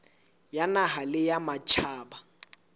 ya naha le ya matjhaba